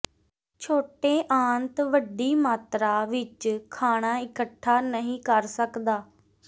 ਛੋਟੇ ਆੰਤ ਵੱਡੀ ਮਾਤਰਾ ਵਿੱਚ ਖਾਣਾ ਇਕੱਠਾ ਨਹੀਂ ਕਰ ਸਕਦਾ